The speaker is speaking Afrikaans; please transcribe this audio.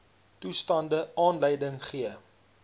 toestande aanleiding gee